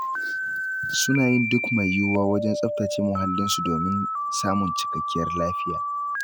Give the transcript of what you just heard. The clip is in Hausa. Suna yin duk mai yuwuwa wajen tsaftace muhallinsu, domin samun cikakkiyar lafiya.